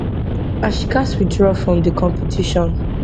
and she gatz withdraw from di competition